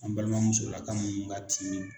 An balimamusolaka munnu ka tiin